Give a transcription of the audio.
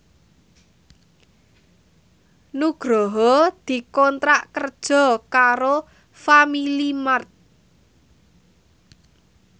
Nugroho dikontrak kerja karo Family Mart